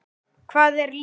Hvað er lífið?